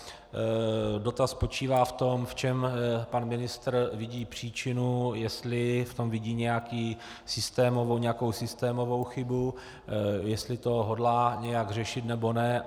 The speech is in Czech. Dotaz spočívá v tom, v čem pan ministr vidí příčinu, jestli v tom vidí nějakou systémovou chybu, jestli to hodlá nějak řešit, nebo ne.